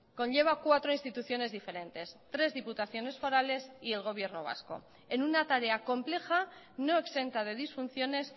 conlleva cuatro instituciones diferentes tres diputaciones forales y el gobierno vasco en una tarea compleja no exenta de disfunciones